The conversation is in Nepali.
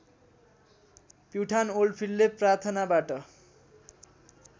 प्युठान ओल्डफिल्डले प्राथनाबाट